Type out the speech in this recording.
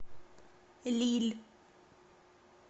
лилль